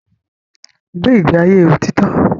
Gbé ìgbé ayé òtítọ́!